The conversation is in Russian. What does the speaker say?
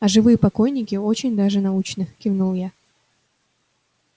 а живые покойники очень даже научны кивнул я